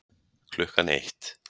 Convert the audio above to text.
Klukkan eitt